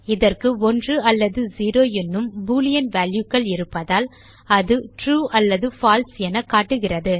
இதற்கு 1 அல்லது 0 என்னும் பூலியன் வால்யூ கள் இருப்பதால் அது ட்ரூ அல்லது பால்சே எனக்காட்டுகிறது